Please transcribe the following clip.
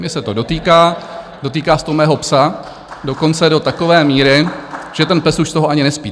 Mě se to dotýká, dotýká se to mého psa, dokonce do takové míry, že ten pes už z toho ani nespí.